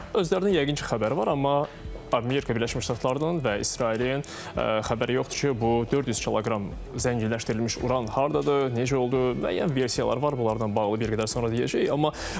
Özlərinin yəqin ki, xəbəri var, amma Amerika Birləşmiş Ştatlarının və İsrailin xəbəri yoxdur ki, bu 400 kiloqram zənginləşdirilmiş uran hardadır, necə oldu, müəyyən versiyalar var bunlardan bağlı bir qədər sonra deyəcəyik.